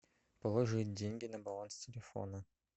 положить деньги на баланс телефона